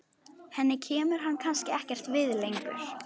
Henni kemur hann kannski ekkert við lengur.